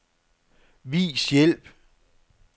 Vis hjælp.